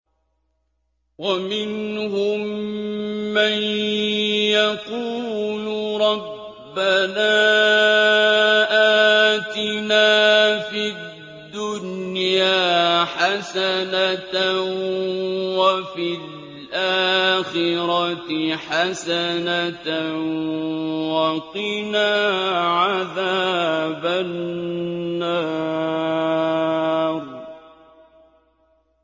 وَمِنْهُم مَّن يَقُولُ رَبَّنَا آتِنَا فِي الدُّنْيَا حَسَنَةً وَفِي الْآخِرَةِ حَسَنَةً وَقِنَا عَذَابَ النَّارِ